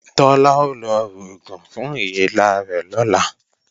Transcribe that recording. Tọ́lá ó lọ rògùn fún èélá rẹ̀ lọ̀la